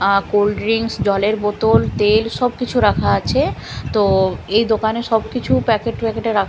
আ cold drinks জলের বোতল তেল সব কিছু রাখা আছে তো এই দোকানে সবকিছু প্যাকেট প্যাকেটে রাখ --